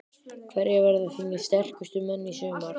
Hverjir verða þínir sterkustu menn í sumar?